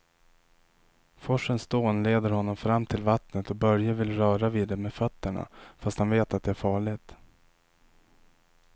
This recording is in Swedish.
Forsens dån leder honom fram till vattnet och Börje vill röra vid det med fötterna, fast han vet att det är farligt.